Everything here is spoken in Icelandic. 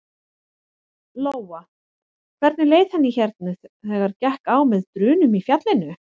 Lóa: Hvernig leið henni hérna þegar gekk á með drunum í fjallinu?